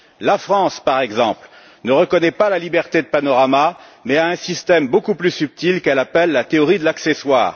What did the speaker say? La France, par exemple, ne reconnaît pas la liberté de panorama, mais a un système beaucoup plus subtil qu'elle appelle la théorie de l'accessoire.